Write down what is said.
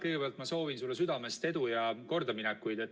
Kõigepealt ma soovin sulle südamest edu ja kordaminekuid.